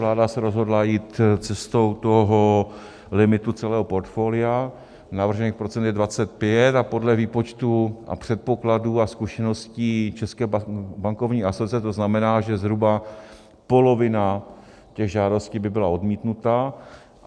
Vláda se rozhodla jít cestou toho limitu celého portfolia, navržených procent je 25 a podle výpočtů a předpokladů a zkušeností České bankovní asociace to znamená, že zhruba polovina těch žádostí by byla odmítnuta.